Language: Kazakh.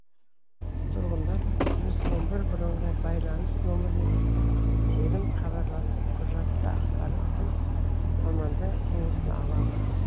тұрғындар жүз он бір бірыңғай байланыс номіріне тегін хабарласып құжатты ақпарат пен мамандар кеңесін ала алады